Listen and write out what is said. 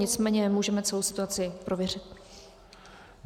Nicméně můžeme celou situaci prověřit.